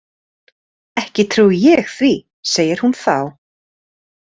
Ekki trúi ég því, segir hún þá.